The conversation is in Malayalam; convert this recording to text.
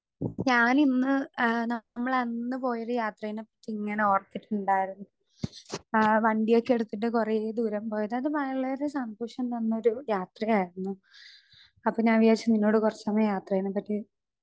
സ്പീക്കർ 2 ഞാനിന്ന് ഏ നമ്മളന്ന് പോയൊരു യാത്രെനെ പറ്റിങ്ങനെ ഓർത്തിട്ട്ണ്ടായിരുന്നു. ഏ വണ്ടിയൊക്കെ എടുത്തിട്ട് കൊറേ ദൂരം പോയത് അത് വളരെ സന്തോഷം തന്നൊരു യാത്രയായിരുന്നു. അപ്പൊ ഞാൻ വിചാരിച്ചു കൊറച്ച് സമയം നിന്നോട് യാത്രെനെ പറ്റി.